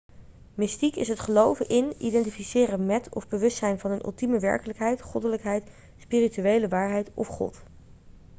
mystiek is het geloven in identificeren met of bewustzijn van een ultieme werkelijkheid goddelijkheid spirituele waarheid of god